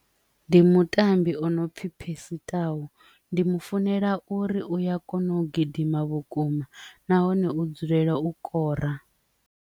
Ndi mutambi ono pfhi Percy Tau ndi mu funela uri uya kona u gidima vhukuma nahone u dzulela u kora.